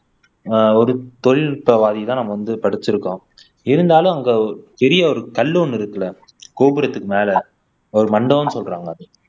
ஆஹ் ஒரு தொழில்நுட்பவாதிதான் நம்ம வந்து படிச்சிருக்கோம் இருந்தாலும் அங்க ஒரு பெரிய ஒரு கல் ஒண்ணு இருக்குல்ல கோபுரத்துக்கு மேல ஒரு மண்டபம்னு சொல்றாங்க அதை